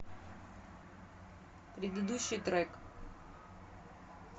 предыдущий трек